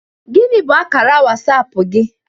Gini bụ akara WasAp gi?